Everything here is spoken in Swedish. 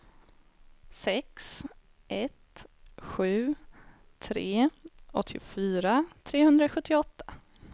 sex ett sju tre åttiofyra trehundrasjuttioåtta